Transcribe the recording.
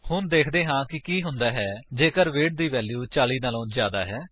ਹੁਣ ਵੇਖਦੇ ਹਾਂ ਕਿ ਕੀ ਹੁੰਦਾ ਹੈ ਜੇਕਰ ਵੇਟ ਦੀ ਵੈਲਿਊ 40 ਵਲੋਂ ਜਿਆਦਾ ਹੋ